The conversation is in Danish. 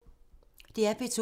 DR P2